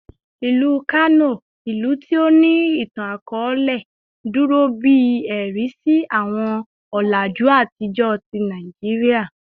Ilu Kano, ilu ti o ni itan-akọọlẹ, duro bi ẹ̀rí si awọn ọlaju atijọ ti Naijiria